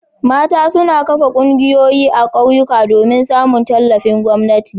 Mata su kan kafa ƙungiyoyi a ƙauyuka domin samun tallafin gwamnati.